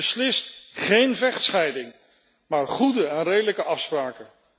Beslist geen vechtscheiding, maar goede en redelijke afspraken.